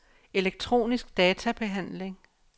elektronisk databehandling